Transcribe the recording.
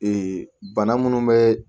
bana minnu bɛ